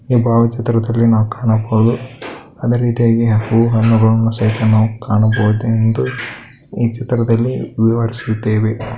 ಈ ಬಾವಚಿತ್ರದಲ್ಲಿ ನಾವು ಕಾಣಬಹುದು ಅದೆ ರೀತಿಯಾಗಿ ಹೂ ಹಣ್ಣುಗಳನ್ನು ನಾವು ಕಾಣಬಹುದೆಂದು ಈ ಚಿತ್ರದಲ್ಲಿ ವಿವರಿಸಿದ್ದೇವೆ.